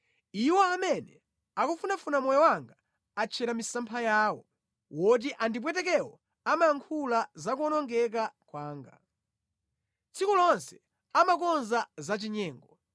Iwo amene akufunafuna moyo wanga atchera misampha yawo, oti andipwetekewo amayankhula za kuwonongeka kwanga; tsiku lonse amakonza zachinyengo.